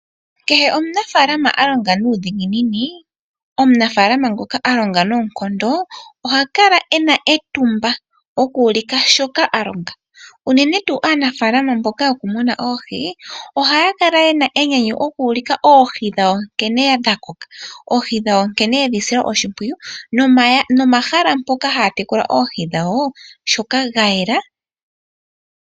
Kehe omuna faalama ngoka alonga nuudhiginini, omunafaalama ngoka alongo nookondo, oha kala ena etumba oku ulika shoka alonga. Unene tuu aanafaalama mboka yena enyanyu oku ulika oohi dhawo nkene dha koka, nomahala gawo nkene ga yela.